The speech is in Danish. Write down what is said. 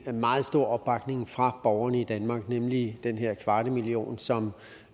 en meget stor opbakning fra borgerne i danmark nemlig den her kvarte million som